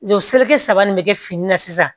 seleri saba nin bɛ kɛ fini na sisan